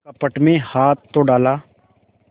कपट में हाथ तो डाला